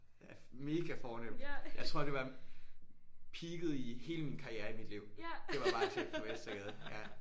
Ja mega fornemt jeg tror det var peaket i hele min karriere i mit liv det var barchef på Vestergade ja